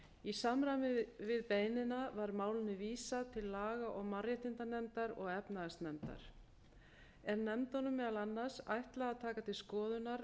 í samræmi við beiðnina var málinu vísað til laga og mannréttindanefndar og efnahagsnefndar er nefndunum meðal annars ætlað að taka til skoðunar